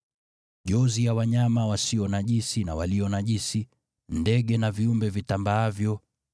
Jozi ya wanyama walio safi na walio najisi, ndege na viumbe vitambaavyo,